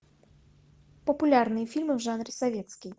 популярные фильмы в жанре советский